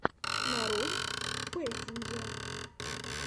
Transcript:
нарой пэсинджэ